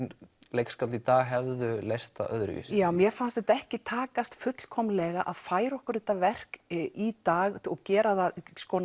leikskáld í dag hefðu leyst það öðruvísi mér fannst þetta ekki takast fullkomlega að færa okkur þetta verk í dag og gera það